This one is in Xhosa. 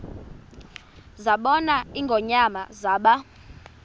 zabona ingonyama zaba